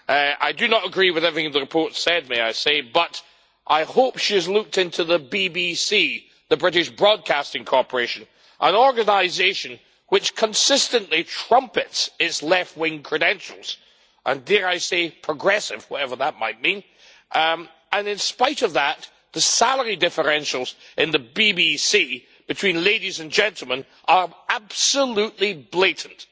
I do not agree with everything the report says, may I say, but I hope she has looked into the BBC the British Broadcasting Corporation an organisation which consistently trumpets its left wing credentials and, dare I say, progressive, whatever that might mean, and in spite of that, the salary differentials in the BBC between ladies and gentlemen are absolutely blatant.